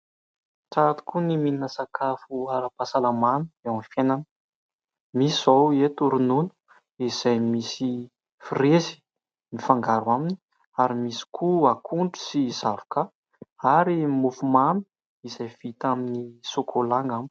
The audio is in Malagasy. Tsara tokoa ny mihinana sakafo ara-pahasalamana eo amin'ny fiainana. Misy izao eto ronono izay misy frezy mifangaro aminy ary misy koa akondro sy zavoka ary mofomamy izay vita amin'ny sôkôla angamba.